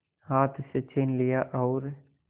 हाथ से छीन लिया और